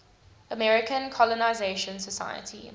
american colonization society